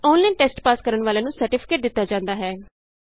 online test pass ਕਰਨ ਵਾਲਿਆਂ ਨੂੰ ਸਰਟੀਫਿਕੇਟ ਦਿਤਾ ਜਾਂਦਾ ਹੈ